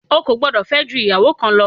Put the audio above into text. Ò gbọdọ̀ fẹ́ ju ìyàwó kan lọ.